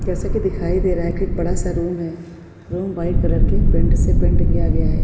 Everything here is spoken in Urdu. جیسا کی دکھائی دے رہا ہے کی ایک بڑا سا روم ہے۔ روم وائٹ کلر کے پینٹ سے پینٹ کیا ہے۔